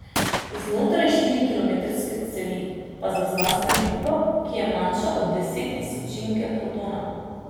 Znotraj štirikilometrske cevi pa zazna spremembo, ki je manjša od desettisočinke protona.